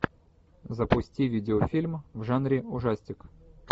запусти видеофильм в жанре ужастик